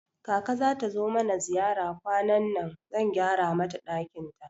Kaka zata zo mana ziyara kwanannan, zan gyara mata ɗakin ta